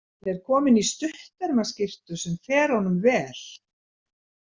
Hann er kominn í stuttermaskyrtu sem fer honum vel.